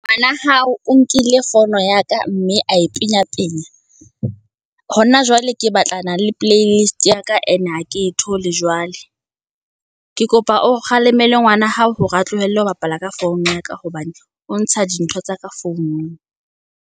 Ngwana hao o nkile founo ya ka, mme a e penya penya. Hona jwale ke batlana le playlist-i ya ka, ene ha ke e thole jwale, ke kopa o kgalemela ngwana hao, hore a tlohelle ho bapala ka founu ya ka, hobane o ntsha dintho tsa ka founung.